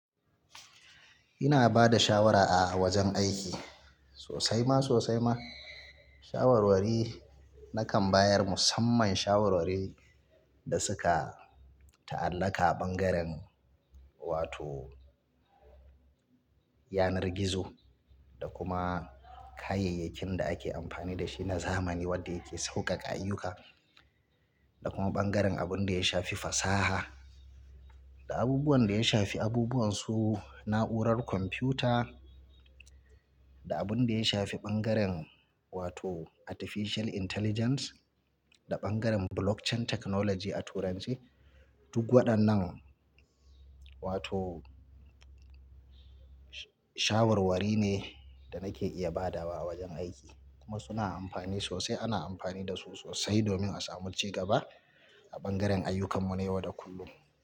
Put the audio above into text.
Ina ba da shawara a wajen aiki sosai ma sosai ma. Shawarwari nakan bayar musamman shawarwari da suka ta'allaka a bangaren wato yanar gizo da kuma kayayyakin da ake amfani da shi na zamani wanda yake saukaka ayyuka, da kuma bangaren abin da ya shafi fasaha, da abubuwan da ya shafi abubuwan su na'urar kwamfuta, da abin da ya shafi bangaren wato Artificial Intelligence, da bangaren Blockchain Technology a turance. Duk waɗannan wato shawarwari ne da nake iya badawa a wajen aiki kuma suna amfani sosai. Ana amfani da su sosai domin a samu cigaba a bangaren ayyukan mu na yau da kullum.